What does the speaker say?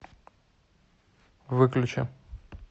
выключи